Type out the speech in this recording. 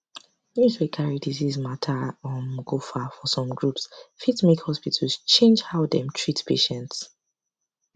news wey carry disease matter um go far for some groups fit make hospitals change how dem treat patients